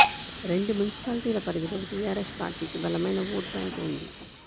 రెండు మున్సిపాలిటీల పరిధిలో టీఆర్ఎస్ పార్టీకి బలమైన ఓటు బ్యాంక్ ఉంది